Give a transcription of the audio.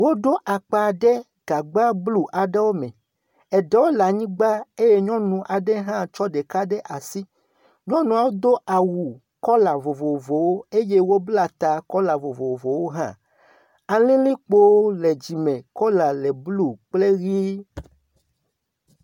Woɖo akpa ɖe gagba blu aɖewo me. Eɖewo le anyigba eye nyɔnu aɖe hã tsɔ ɖeka ɖe asi. Nyɔnuawo do awu kɔla vovovowo eye wobla ta kɔla vovovowo hã. Alilikpowo le dzi me, kɔla le blu kple ʋɛ̃.